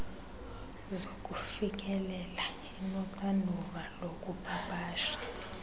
zokufikelela inoxanduva lokupapasha